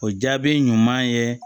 O jaabi ɲuman ye